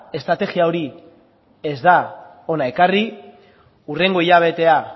estrategia hori ez da hona ekarri hurrengo hilabetea